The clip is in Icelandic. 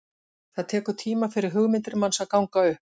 Það tekur tíma fyrir hugmyndir manns að ganga upp.